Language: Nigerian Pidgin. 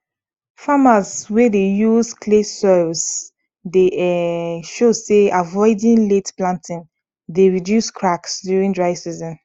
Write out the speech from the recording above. farmers wey dey use clay soils dey um show say avoiding late planting dey reduce cracks during dry season